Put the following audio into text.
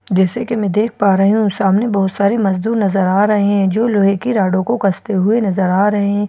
जैसे कि मैं देख पा रही हूं सामने बहुत सारे मजदूर नजर आ रहे हैं जो लोहे की राडों को कसते हुए नजर आ रहे हैं और उन--